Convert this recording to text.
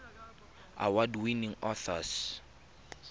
award winning authors